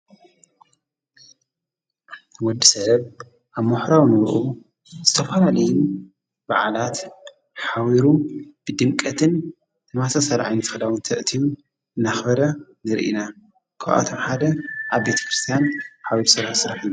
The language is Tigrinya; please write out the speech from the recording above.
ወዲ ሰብ ኣብ መሕራዊ ንርዑ ዝተፍላሌን በዓላት ኃዊሩ ብድምቀትን ተማሰ ሠልዓይን ፈላውን ተእቲዩ እናኽበረ ንርኢና። ክብአቶም ሓደ ኣብ ቤት ክርስቲያን ኃዊሩ ሥራ ሥረሒ እዩ።